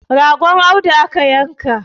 ragon Audu aka yanka